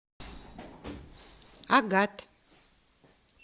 агат